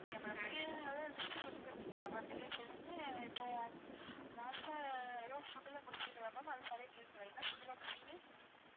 okay ma'am நீங்க அதாவது list சொல்லி தந்தீங்களா ma'am நீங்க சொல்லுங்க இப்போ last ஆ எதோ food லா கூட சொன்னீங்கல்ல ma'am அது சரியா கேக்கல என்ன food ma'am சொன்னீங்க